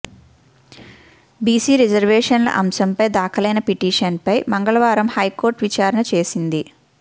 BC రిజర్వేషన్ల అంశంపై దాఖలైన పిటిషన్పై మంగళవారం హైకోర్టు విచారణ చేసింది